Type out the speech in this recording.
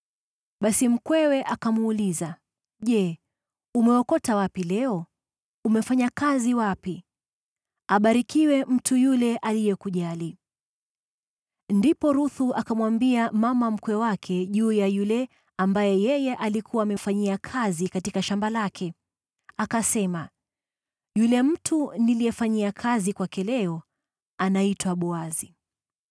Basi mkwewe akamuuliza, “Je, umeokota wapi leo? Umefanya kazi wapi? Abarikiwe mtu yule aliyekujali.” Ndipo Ruthu akamwambia mama mkwe wake juu ya yule ambaye yeye alikuwa amefanyia kazi katika shamba lake. Akasema, “Yule mtu niliyefanyia kazi kwake leo, anaitwa Boazi.”